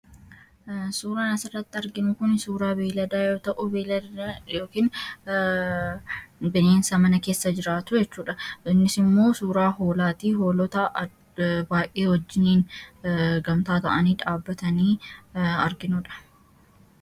Suuraa as irratti arginu kuni suuraa beelladootaa yookiin bineensota mana keessa jiraatanidha.